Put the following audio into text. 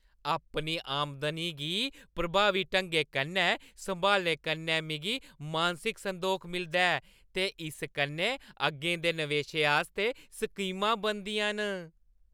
अपनी आमदनी गी प्रभावी ढंगै कन्नै संभालने कन्नै मिगी मानसिक संदोख मिलदा ऐ ते इस कन्नै अग्गें दे नवेशें आस्तै स्कीमां बनदियां न।